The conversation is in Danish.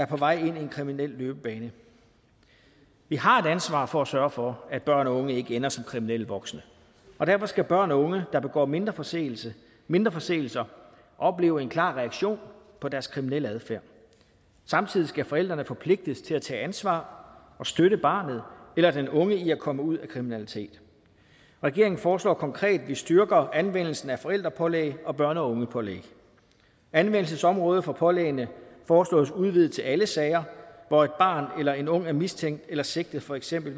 på vej ind i en kriminel løbebane vi har et ansvar for at sørge for at børn og unge ikke ender som kriminelle voksne og derfor skal børn og unge der begår mindre forseelser mindre forseelser opleve en klar reaktion på deres kriminelle adfærd samtidig skal forældrene forpligtes til at tage ansvar og støtte barnet eller den unge i at komme ud af kriminalitet regeringen foreslår konkret at vi styrker anvendelsen af forældrepålæg og børn og unge pålæg anvendelsesområdet for pålæggene foreslås udvidet til alle sager hvor et barn eller en ung er mistænkt eller sigtet for eksempel